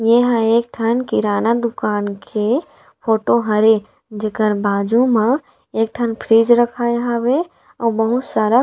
ए ह एक ठन किराना दुकान के फोटो हरे जेकर बाजु म एक ठन फ्रीज रखाए हवे अउ बहुत सारा--